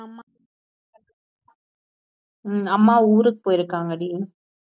உம் அம்மா ஊருக்கு போயிருக்காங்கடி